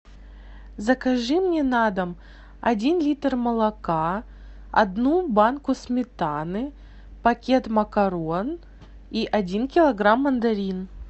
закажи мне на дом один литр молока одну банку сметаны пакет макарон и один килограмм мандарин